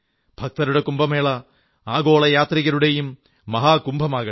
ഭക്തരുടെ കുംഭമേള ആഗോള യാത്രികരുടെയും മഹാകുംഭമാകട്ടെ